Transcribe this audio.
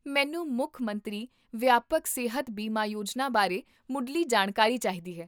ਮੈਨੂੰ ਮੁੱਖ ਮੰਤਰੀ ਵਿਆਪਕ ਸਿਹਤ ਬੀਮਾ ਯੋਜਨਾ ਬਾਰੇ ਮੁੱਢਲੀ ਜਾਣਕਾਰੀ ਚਾਹੀਦੀ ਹੈ